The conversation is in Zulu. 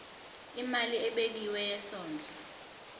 imali ebekiwe yesondlo